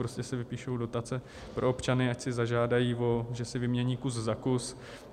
Prostě se vypíší dotace pro občany, ať si zažádají, že si vymění kus za kus.